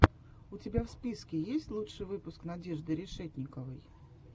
у тебя в списке есть лучший выпуск надежды решетниковой